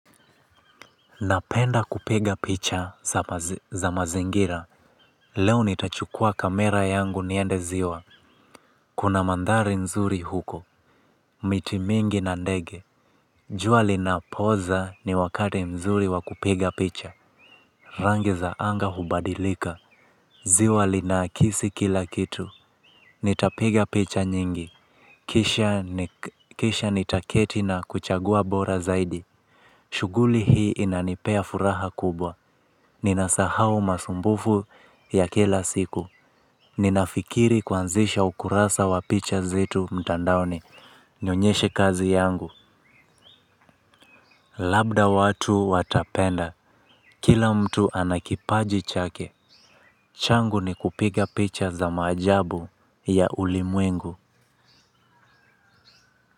Napenda kupiga picha za mazingira. Leo nitachukua kamera yangu niende ziwa. Kuna mandhari nzuri huko. Miti mingi na ndege jua linapoza ni wakati mzuri wa kupiga picha. Rangi za anga hubadilika. Ziwa linakisi kila kitu. Nitapiga picha nyingi kisha nitaketi na kuchagua bora zaidi. Shughuli hii inanipea furaha kubwa. Ninasahau masumbufu ya kila siku. Ninafikiri kuanzisha ukurasa wa picha zetu mtandaoni. Nionyeshe kazi yangu. Labda watu watapenda. Kila mtu ana kipaji chake. Changu ni kupiga picha za maajabu ya ulimwengu.